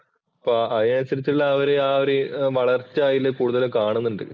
ഇപ്പോ അതിനനുസരിച്ചുള്ള ആ ഒരു ആ ഒരു വളർച്ച അതില് കൂടുതല് കാണുന്നുണ്ട്.